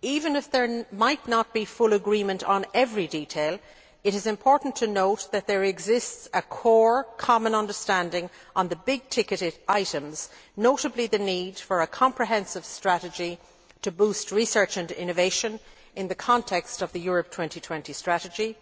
Even though there might not be full agreement on every detail, it is important to note that there exists a core common understanding on the big ticketed items, notably, the need for a comprehensive strategy to boost research and innovation in the context of the Europe 2020 strategy,